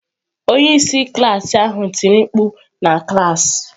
Onye isi klaasị ahụ tiri mkpu! Na klas.